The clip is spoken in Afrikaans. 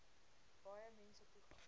baie mense toegang